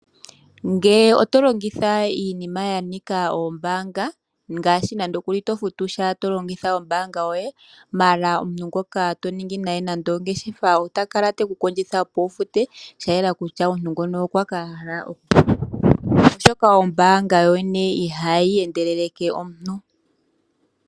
Ngele oto longitha iinima ya nika oombanga ngaashi nande okuli to futusha to longitha ombanga yoye maala omuntu ngoka to ningi naye ongeshefa ota kala teku kondjitha opo wufute sha yela kutya omuntu ngono okwa ,oshoka ombanga yoyene ihayi endeleleke omuntu.